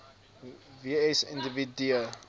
w s individue